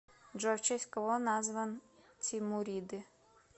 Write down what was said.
джой в честь кого назван тимуриды